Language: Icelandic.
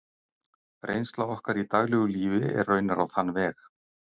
Reynsla okkar í daglegu lífi er raunar á þann veg.